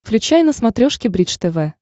включай на смотрешке бридж тв